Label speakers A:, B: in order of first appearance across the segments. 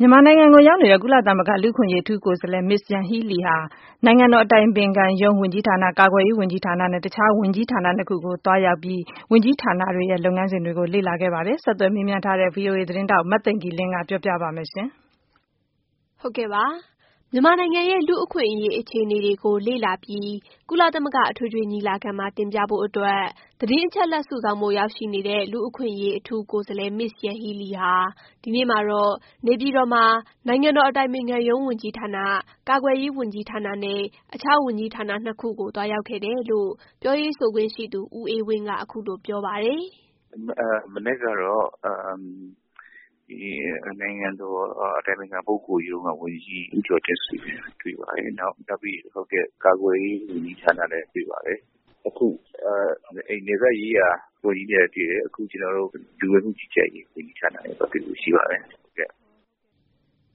A: မြန်မာနိုင်ငံကို ရောက်ရှိနေတဲ့ ကုလသမဂလူ့အခွင့်အရေးအထူးကိုယ်စားလှယ် Ms. Yanghee Lee ဟာ ဒီကနေ့မှာတော့ နိုင်ငံတော် အတိုင်ပင်ခံအတိုင်ပင်ခံ ရုံးဝန်ကြီးဌာန၊ ကာကွယ်ရေးဝန်ကြီးဌာနနဲ့ အခြား ဝန်ကြီးဌာန ၂ ခုကို သွားရောက်ပြီး ဝန်ကြီးဌာနတွေရဲ့ လုပ်ငန်းစဉ်တွေကိုလေ့လာခဲ့ပါတယ်။ ဆက်သွယ်မေးမြန်းထားတဲ့ VOA သတင်းထောက် မသိင်္ဂ ီလင်းက ပြောပြပေးပါမယ်။ မြန်မာနိုင်ငံရဲ့ လူ့အခွင့်အရေးအခြေအနေတွေကို လေ့လာပြီး ကုလသမဂ အထွေထွေညီလာခံမှာ တင်ပြဖို့အတွက် သတင်းအချက်အလက် စုဆောင်းဖို့ ရောက်ရှိနေတဲ့ လူ့အခွင့်အရေးအထူးကိုယ်စားလှယ် Ms. Yanghee Lee ဟာ ဒီနေ့မှာတော့ နေပြည်တော်မှာ နိုင်ငံတော် အတိုင်ပင်ခံရုံးဝန်ကြီးဌာန၊ ကာကွယ်ရေးဝန်ကြီးဌာန နဲ့ အခြားဝန်ကြီးဌာန ၂ ခုကို သွားရောက် ခဲ့တယ်လို့ ပြောရေးဆိုခွင့်ရှိသူ ဦးအေးဝင်းက အခုလို ပြောပါတယ်
B: ။ “မနက်ကတော့ နိုင်ငံတော်အတိုင်ပင်ခံပုဂ္ဂိုလ်ရုံးကဝန်ကြီး ဦးကျော်တင့်ဆွေနဲ့ တွေ့ပါတယ်။ နောက်ပြီး ကာကွယ်ရေးဝန်ကြီးဌာန နဲ့လည်းတွေ့ပါတယ်။ နယ်စပ်ရေးရာဝန်ကြီးနဲ့လည်းတွေ့တယ်။ အခုကျနော်တို့ လူဝင်မှုကြီးကြပ်ရေး ဝန်ကြီးဌာနနဲ့လည်းသွားတွေ့ဖို့ရှိပါတယ်။”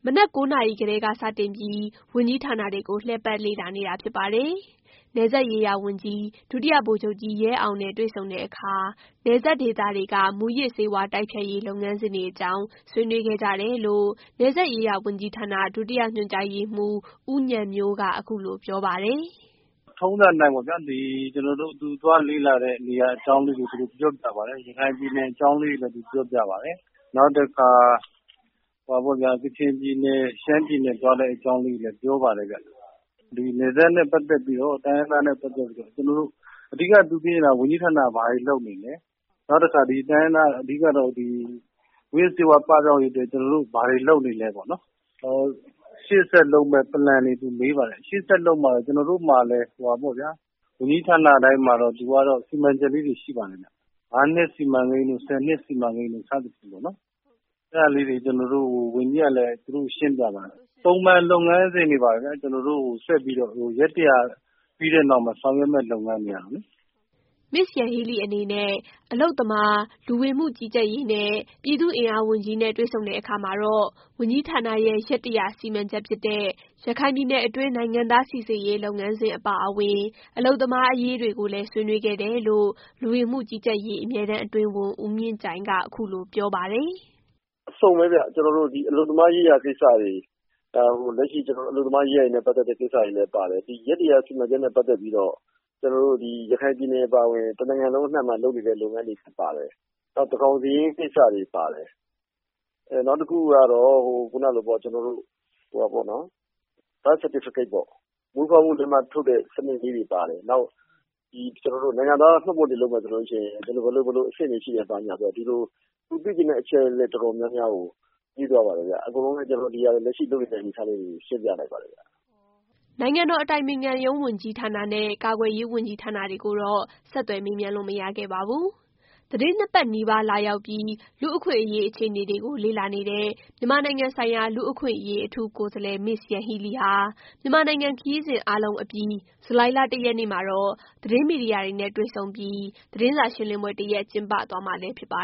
A: မနက် ၉ နာရီကတည်းက စတင်ပြီး ဝန်ကြီးဌာနတွေကို လှည့်ပတ်လေ့လာနေတာဖြစ်ပါတယ်။ နယ်စပ်ရေးရာဝန်ကြီး ဒုတိယဗိုလ်ချုပ်ကြီးရဲအောင်နဲ့ တွေ့ဆုံခဲ့တဲ့အခါ နယ်စပ်ဒေသတွေက မူးယစ်ဆေးဝါးတိုက်ဖျက်ရေး လုပ်ငန်းစဉ်တွေ အကြောင်း ဆွေးနွေးခဲ့ကြတယ်လို့ နယ်စပ်ရေးရာဝန်ကြီးဌာန ဒုတိယညွှန်ကြားရေးမှူး ဦးဉာဏ်မျိုးက အခုလို ပြောပြပါတယ်။
C: “ထုံးစံအတိုင်းပေါ့ဗျာ သူသွားလေ့လာတဲ့ နေရာအကြောင်းတွေ ကိုပြောပြပါတယ်။ နောက်တခါ ကချင်ပြည်နယ်၊ ရှမ်းပြည်နယ်သွားတဲ့အကြောင်းလေးတွေလည်းပြောပါတယ်။ နယ်စပ်နဲ့ပတ်သက်ပြီးတော့ တိုင်းရင်းသားနဲ့ ပတ်သက်ပြီးတော့ ကျနော်တို့ အဓိကသူမေးတာ ဝန်ကြီးဌာနတွေက ဘာတွေလုပ်နေသလဲ၊ နောက်တခါ တိုင်းရင်းသားဒေသဘက်မှာ မူးယစ်ဆေးဝါးပပြောက်ရေးအတွက် ကျနော်တို့ ဘာတွေလုပ်နေသလဲပေါ့နော်။ နောက်ပြီးတော့ ရှေ့ဆက်လုပ်မယ့် Plan တွေမေးပါတယ်။ ကျနော်တို့မှာလည်း ဝန်ကြီးဌာနတိုင်းမှာတော့ စီမံချက်လေးတွေရှိပါတယ် ၅ နှစ်စီမံကိန်းတို့၊ ၁၀ နှစ်စီမံကိန်းတို့ စသဖြင့်ပေါ့နော်။ အဲဒါလေးတွေကို ကျနော်တို့ ဝန်ကြီးကလည်း သူတို့ကိုရှင်းပြပါတယ်။ ပုံမှန်လုပ်ငန်းစဉ်လိုပါပဲ ကျနော်တို့ ရက် ၁၀၀ ပြီးတဲ့နောက်ဆောင်ရွက်မယ့်လုပ်ငန်းတွေလေ။
A: ” Ms. Yanghee Leeအနေနဲ့ အလုပ်သမား၊ လူဝင်မှုကြီးကြပ်ရေးနဲ့ ပြည်သူ့အင်အားဝန်ကြီးနဲ့တွေ့ဆုံတဲ့အခါမှာတော့ ဝန်ကြီးဌာနရဲ့ ရက် ၁၀၀ စီမံချက်ဖြစ်တဲ့ ရခိုင်ပြည်နယ်တွင်း နိုင်ငံသားစိစစ်ရေးလုပ်ငန်းစဉ်အပါအဝင် အလုပ်သမားအရေးတွေကိုလည်း ဆွေးနွေးခဲ့တယ်လို့ လူဝင်မှုကြီးကြပ်ရေး အမြဲတမ်းအတွင်းဝန် ဦးမြင့်ကြိုင်က အခုလို ပြောပါတယ်။
D: “အစုံပဲဗျ ကျနော်တို့ အလုပ်သမားရေးရာကိစ္စတွေ၊ လက်ရှိ ကျနော်တို့ အလုပ်သမားရေးရာနဲ့ ပတ်သက်တဲ့ကိစ္စတွေလည်းပါတယ်။ ဒီ ရက် ၁၀၀ စီမံချက်နဲ့ပတ်သက်ပြီးတော့ ရခိုင်ပြည်နယ်အပါအဝင် တနိုင်ငံလုံးအနှံ့မှာလုပ်နေတဲ့လုပ်နေတဲ့လုပ်ငန်းတွေလည်းပါတယ်။ နောက်သန်းခေါင်စာရင်း ကိစ္စတွေပါတယ်။ နောက်တခုက Birth Certificate ပေါ့နော် မွေးဖွားမှုလက်မှတ်ထုတ်တာတွေပါတယ်။ နောက်တခါ နိုင်ငံသားမှတ်ပုံတင်လုပ်မယ်ဆိုရင် ဘယ်လိုအဆင့်တွေရှိသလဲဆိုတာတွေပေါ့နောက် သူသိချင်တဲ့အချက်အလက် တော်တော်များများကို မေးသွားပါတယ်ခင်ဗျာ။ ကျနော်တို့လည်း လက်ရှိလုပ်နေတဲ့အနေအထားလေးတွေကို ရှင်းပြလိုက်ပါတယ်ခင်ဗျ။
A: ” နိုင်ငံတော်အတိုင်ပင်ခံရုံးဝန်ကြီးဌာနနဲ့ ကာကွယ်ရေးဝန်ကြီးဌာနကိုတော့ ဆက်သွယ်မေးမြန်းလို့ မရခဲ့ပါဘူး။ သီတင်း ၂ ပတ်နီးပါး လာရောက်ပြီး လူ့အခွင့်အရေး အခြေအနေတွေ ကို လေ့လာနေတဲ့ မြန်မာနိုင်ငံဆိုင်ရာ လူ့အခွင့်အရေး အထူးကိုယ်စားလှယ် Ms. Yanghee Lee ဟာ မြန်မာနိုင်ငံခရီးစဉ်အားလုံးအပြီး ဇူလိုင်လ ၁ ရက်နေ့မှာ သတင်းမီဒီယာတွေနဲ့ တွေ့ဆုံပြီး သတင်းစာရှင်းလင်းပွဲ တစ်ရပ်ကျင်းပသွားမှာလည်း ဖြစ်ပါ